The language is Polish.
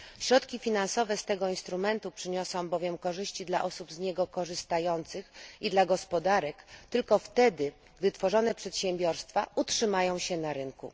Środki finansowe z tego instrumentu przyniosą bowiem korzyści dla osób z niego korzystających i dla gospodarek tylko wtedy, gdy tworzone przedsiębiorstwa utrzymają się na rynku.